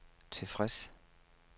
tilfreds